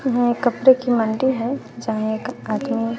यह एक कपड़े की मंडी है जहां एक कार्टून --